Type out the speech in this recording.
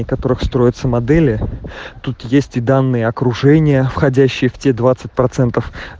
как строится модели тут есть и данные окружение входящих в эти